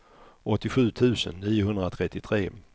åttiosju tusen niohundratrettiotre